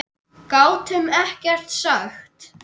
Gátum ekkert sagt.